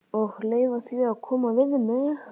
Og leyfa því að koma við mig.